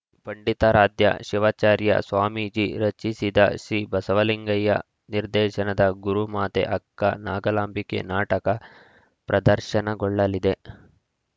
ಪಂಡಿತಾರಾಧ್ಯ ಶಿವಾಚಾರ್ಯ ಸ್ವಾಮೀಜಿ ರಚಿಸಿದ ಸಿಬಸವಲಿಂಗಯ್ಯ ನಿರ್ದೇಶನದ ಗುರುಮಾತೆ ಅಕ್ಕ ನಾಗಲಾಂಬಿಕೆ ನಾಟಕ ಪ್ರದರ್ಶನಗೊಳ್ಳಲಿದೆ